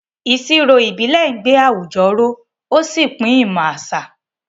Ìṣirò ìbílẹ̀ ń gbé àwùjọ ró ó sì pín ìmọ̀ àṣà.